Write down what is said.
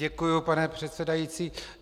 Děkuji, pane předsedající.